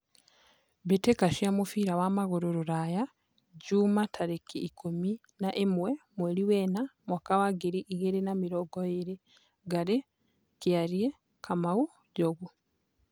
Mbĩ tĩ ka cia mũbira wa magũrũ Ruraya Juma tarĩ ki ikũmi na ĩ mwe mweri wena mwaka wa ngiri igĩ rĩ na mĩ rongo ĩ rĩ : Ngarĩ , Kĩ ariĩ , Kamau, Njogu